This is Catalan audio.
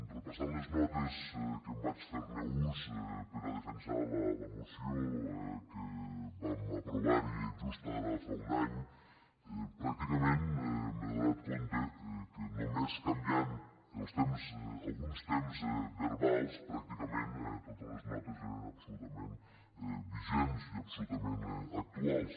repassant les notes de què vaig fer ús per defensar la moció que vam aprovar just ara fa un any pràcti·cament m’he adonat que només canviant els temps alguns temps verbals pràcticament totes les notes eren absolutament vigents i absolutament actuals